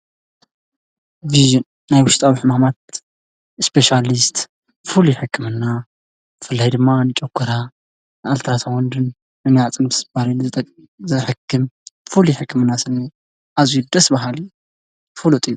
ፊዜን ናይ ውሽጣዊሕ ማማት እስጴሽያልስት ፉሉ ይሕክምና ፍላይ ድማ ንጨጕራ ኣልትራሳወንድን ምንያዕ ጽን ፍስ ባልኒ ዝጠቕ ዘሕክም ፉሉ ይሕክምና ስኒ ኣዙይ ደስ በሃል ፍሉጥን እዩ።